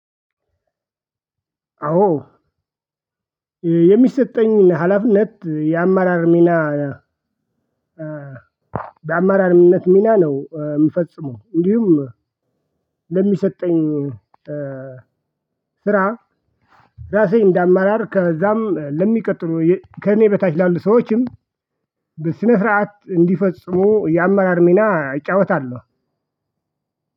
አዎ የሚሰጠኝ ሀላፊነት የአመራር ሚና በአማራርነት ሚና ነው የምፈጽመው። እንዲሁም ለሚሰጠኝ ስራ ራሴ እንደ አመርጭ ከዛም ለሚቀጥሉ ከእኔ በታች ላሉ ሰዎችም በስነ ስርዓት እንዲፈጽሙ የአመራር ሚና እጫወታለሁ።